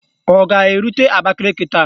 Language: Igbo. Ọ ga-erute Abakaliki taa?